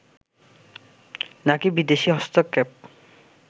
নাকি বিদেশী হস্তক্ষেপ